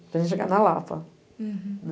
Para a gente chegar na Lapa. Uhum. Né